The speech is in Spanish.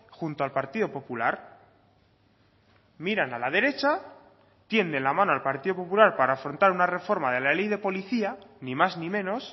junto al partido popular miran a la derecha tienden la mano al partido popular para afrontar una reforma de la ley de policía ni más ni menos